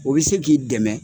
O bɛ se k'i dɛmɛ